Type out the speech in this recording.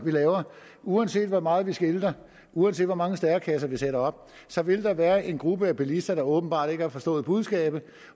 laver uanset hvor meget vi skilter uanset hvor mange stærekasser vi sætter op så vil der være en gruppe af bilister der åbenbart ikke har forstået budskabet